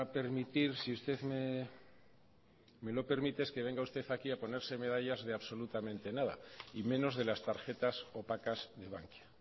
permitir si usted me lo permite es que venga usted aquí a ponerse medallas de absolutamente nada y menos de las tarjetas opacas de bankia